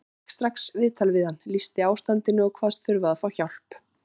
Ég fékk strax viðtal við hann, lýsti ástandinu og kvaðst þurfa að fá hjálp.